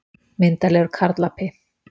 Myndarlegur karlapi.